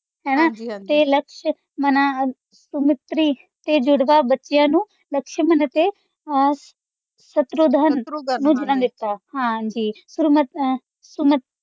ਤੇ ਲਾਕਸ਼ਮਨ ਸੁਮਿਤ੍ਰੀ ਤੇ ਜੁੜਵਾ ਬੱਚਿਆਂ ਨੂੰ ਲਕਸ਼ਮਨ ਅਤੇ ਅਹ ਸ਼ਤਰੂਧਨ ਹਾਂਜੀ ਅਹ